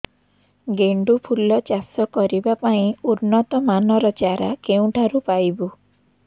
ଗେଣ୍ଡୁ ଫୁଲ ଚାଷ କରିବା ପାଇଁ ଉନ୍ନତ ମାନର ଚାରା କେଉଁଠାରୁ ପାଇବୁ